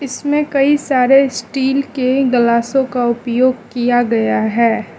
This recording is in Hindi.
इसमें कई सारे स्टील के ग्लासों का उपयोग किया गया है।